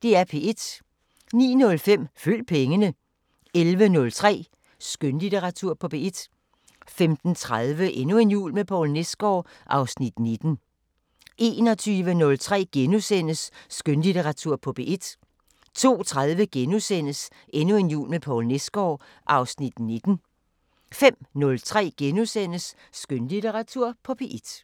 09:05: Følg pengene 11:03: Skønlitteratur på P1 15:30: Endnu en jul med Poul Nesgaard (Afs. 19) 21:03: Skønlitteratur på P1 * 02:30: Endnu en jul med Poul Nesgaard (Afs. 19)* 05:03: Skønlitteratur på P1 *